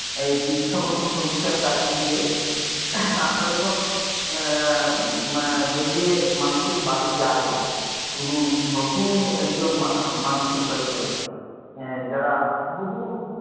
এই দীক্ষা পত্র সমিক্ষার কাজে গিয়ে, আমরা যখন এর বেরিয়ে মানুষের বাড়ি যাই, কোন নতুন একজন মানুষের বাড়ি গেলাম, যারা বহু,